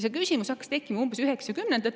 See küsimus hakkas tekkima umbes 1990-ndatel.